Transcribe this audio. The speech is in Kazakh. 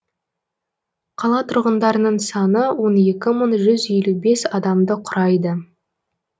қала тұрғындарының саны он екі мың жүз елу бес адамды құрайды